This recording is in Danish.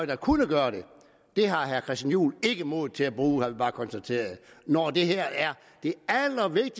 der kunne gøre det har herre christian juhl ikke mod til at bruge har vi bare kunnet konstatere når det her